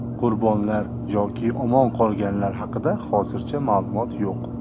Qurbonlar yoki omon qolganlar haqida hozircha ma’lumot yo‘q.